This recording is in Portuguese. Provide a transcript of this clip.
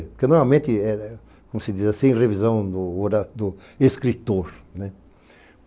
Porque normalmente é, como se diz assim, revisão do escritor.